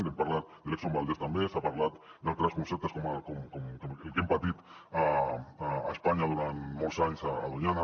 hem parlat de l’valdez també s’ha parlat d’altres conceptes com el que hem patit a espanya durant molts anys a doñana